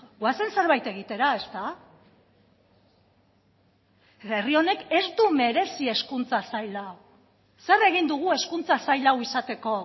goazen zerbait egitera herri honek ez du merezi hezkuntza sail hau zer egin dugu hezkuntza sail hau izateko